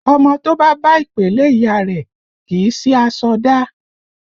Ọmọ to bá bá ìpèlé ìyá rẹ, kì í sì aṣọ dá